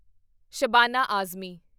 Shabana Azmi